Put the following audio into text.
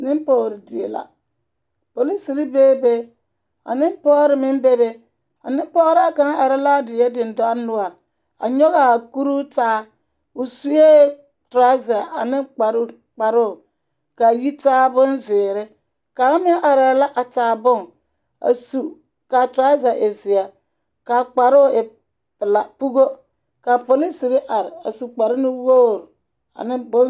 Polisiri bebe ka nempͻgere meŋ bebe. A nempͻgeraa kaŋa are la a die dendͻre noͻre a nyͻgaa kuruu taa. o sue torͻza ane kpare kparoo ka a yitaa bonzeere. Kaŋa meŋ arԑԑ a taa bone a su ka a torͻza e zeԑ ka a kparoo e pela pogo. Ka a polisiri are a su kpare nuwogiri a ne nempͻgere die la.